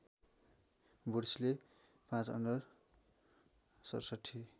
वुड्सले ५ under ६७